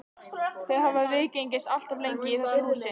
Þau hafa viðgengist allt of lengi í þessu húsi.